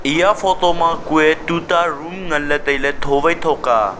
eya photo ma tuta room ngan ley tai ley tho wai tho ka.